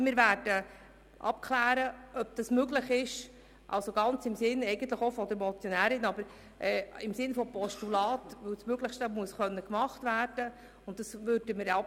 Wir werden aber ganz im Sinn des Motionärs beziehungsweise des Postulanten abklären, ob es möglich ist.